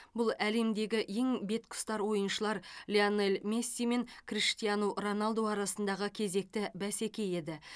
бұл әлемдегі ең беткеұстар ойыншылар лионель месси мен криштиану роналду арасындағы кезекті бәсеке еді